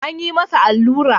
An yi masa allura.